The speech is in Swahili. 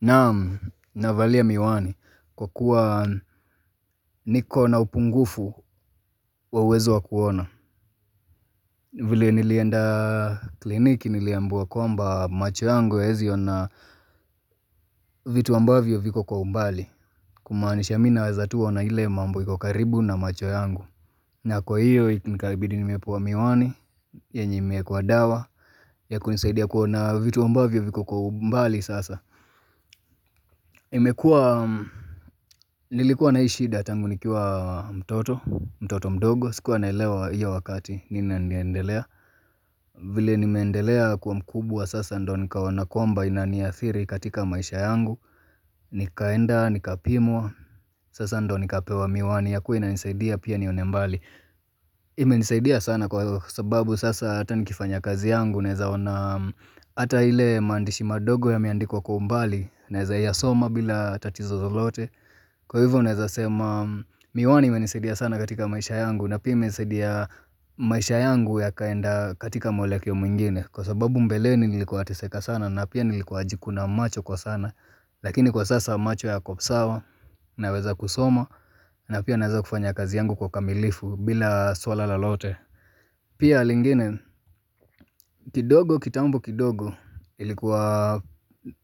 Naam navalia miwani kwa kuwa nikona upungufu wa uwezo wa kuona vile nilienda kliniki niliambua kwamba macho yangu hayaezi na vitu ambavyo viko kwa umbali Kumaanisha mi nawaze tu ona ile mambo iko karibu na macho yangu na kwa hiyo nikabidi nimepewa miwani yenye imeekwa dawa ya kunisaidia kuona vitu ambavyo viko kwa umbali sasa imekua Nilikuwa na hii shida tangu nikiwa mtoto mtoto mdogo sikuwa naelewa hiyo wakati nini inaniendelea vile nimeendelea kkwa mkubwa sasa ndo nikaona kwamba inaniathiri katika maisha yangu Nikaenda nikapimwa sasa ndo nikapewa miwani ya kuwa inanisaidia pia nione mbali imenisaidia sana kwa hivyo sababu sasa hata nikifanya kazi yangu Naezaona ata ile mazndishi madogo yameandikwa kwa umbali naeza yasoma bila tatizo lolote Kwa hivyo naeza sema miwani imenisaidia sana katika maisha yangu na pia imesaidia maisha yangu ya kaenda katika mwelekeo mwingine kwa sababu mbeleni nilikuwa nateseka sana na pia nilikuwa najikuna macho kwa sana lakini kwa sasa macho yako sawa naweza kusoma na pia naweza kufanya kazi yangu kwa ukamilifu bila swala lolote pia lingine kidogo kitambo kidogo ilikuwa